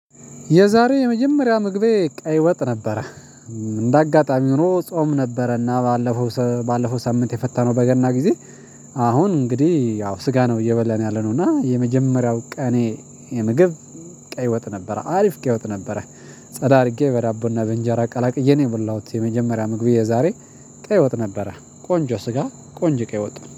የዛሬ የመጀመሪያ ምግቤ ቀይ ወጥ ነበረ። እንደ አጋጣሚ ሆኖ ጾም ነበረና ባለፈው ባለፈው ሳምንት የፈታነው በገና ጊዜ። አሁን እንግዲህ ያው ስጋ ነው እየበለን ያለነው እና የመጀመሪያው ቀኔ ምግብ ቀይ ወጥ ነበር። አሪፍ ቀይ ወጥ ነበር። ጸዳ አድርጌ በዳቦና በእንጀራ ቀላቅዬ ነው የሞላሁት የመጀመሪያ ምግብ የዛሬ ቀይ ወጥ ነበረ ቆንጆ ስጋ ቆንጆ ቀይ ወጡ